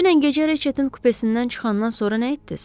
Dünən gecə Reçetin kupesindən çıxandan sonra nə etdiz?